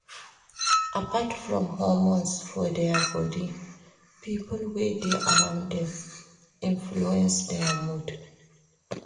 Apart from hormones for their body pipo wey de around dem influence their mood